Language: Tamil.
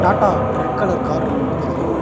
டாட்டா ரெட் கலர் கார் ஒன்னு நிக்குது.